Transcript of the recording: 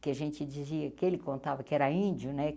que a gente dizia que ele contava que era índio, né?